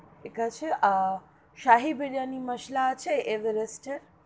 ঠিক আছে শাহী বিরিয়ানি মশলা আছে এভারেস্ট এর?